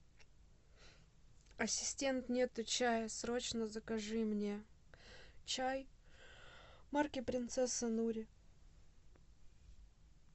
ассистент нету чая срочно закажи мне чай марки принцесса нури